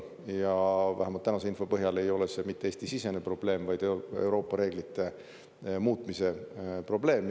Ja vähemalt tänase info põhjal ei ole see mitte Eesti-sisene probleem, vaid Euroopa reeglite muutmise probleem.